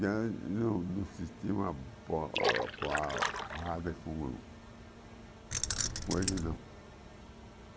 Já não não se estima o coelho, não.